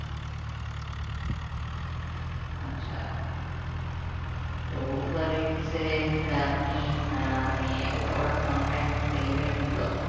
আচ্ছা তো Uber Eats এ আপনি আহ মানে ওটা ওরা কি on time delivery দিতো?